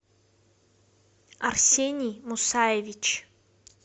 арсений мусаевич